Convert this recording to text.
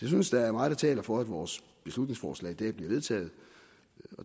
synes der er meget der taler for at vores beslutningsforslag i dag bliver vedtaget